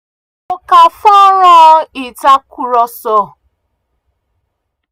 mo ká fọ́nrán ìtakùrọ̀sọ sílẹ̀ láti rí i dájú pé um àwọn ẹ̀tọ́ mí ní ìbọ̀wọ̀fún lásìkò ìdánidúró